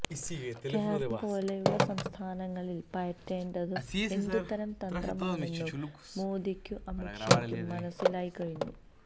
കേരളം പോലെയുള്ള സംസ്ഥാനങ്ങളില് പയറ്റേണ്ടതു എന്തു തരം തന്ത്രമാണെന്നു മോദിക്കും അമിത് ഷായ്ക്കും മനസിലായി കഴിഞ്ഞു